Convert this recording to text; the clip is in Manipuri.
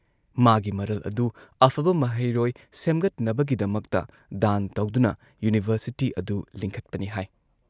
ꯃꯥꯒꯤ ꯃꯔꯜ ꯑꯗꯨ ꯑꯐꯕ ꯃꯍꯩꯔꯣꯏ ꯁꯦꯝꯒꯠꯅꯕꯒꯤꯗꯃꯛꯇ ꯗꯥꯟ ꯇꯧꯗꯨꯅ ꯌꯨꯅꯤꯚꯔꯁꯤꯇꯤ ꯑꯗꯨ ꯂꯤꯡꯈꯠꯄꯅꯤ ꯍꯥꯏ ꯫